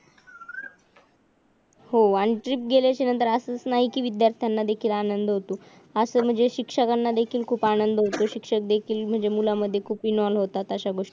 हो आणि ट्रिप गेल्याच्या नंतर असं होत नाही कि विध्यार्थ्यांना देखील आनंद होतो असं म्हणजे शिक्षकाना देखील खूप आनंद होतो शिक्षक देखील म्हणजे मुलांमध्ये खूप इंवोल होतात अश्या गोष्टी मध्ये